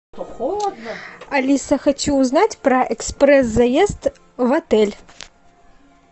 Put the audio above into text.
алиса хочу узнать про экспресс заезд в отель